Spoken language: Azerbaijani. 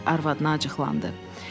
əri arvadına acıqlandı.